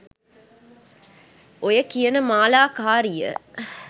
ඔය කියන මාලා කාරිය